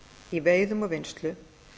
í veiðum og vinnslu